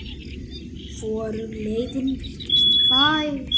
Hvorug leiðin virtist fær.